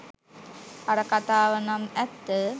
අර . කතාවනම් ඇත්ත!